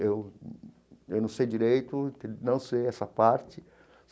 Eu eu não sei direito, não sei essa parte.